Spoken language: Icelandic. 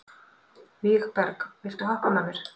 Vígberg, viltu hoppa með mér?